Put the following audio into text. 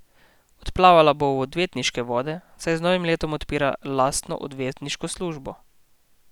Odplavala bo v odvetniške vode, saj z novim letom odpira lastno odvetniško družbo.